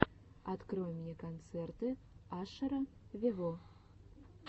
открой мне концерты ашера вево